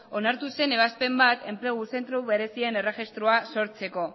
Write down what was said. onartu zen ebazpen bat enplegu zentro berezien erregistroa sortzeko